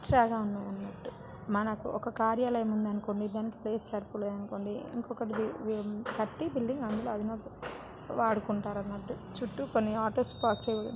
చాగా అన్నట్టు. మనకు ఒక కార్యాలయం ఉందనుకోండి. దానికి ప్లేస్ సరిపోలేదు అనుకోండి. ఇంకొక వి బిల్డింగ్ కట్టి అది అధునాత వాడుకుంటారు అన్నట్టు. చుట్టుకొన్ని కొన్ని ఆటోస్ పార్క్ --